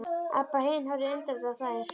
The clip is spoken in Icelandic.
Abba hin horfði undrandi á þær.